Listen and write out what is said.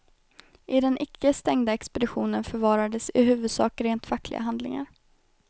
I den icke stängda expeditionen förvarades i huvudsak rent fackliga handlingar.